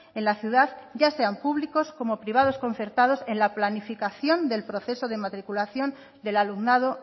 en la ciudad ya sean públicos como privados concertados en la planificación del proceso de matriculación del alumnado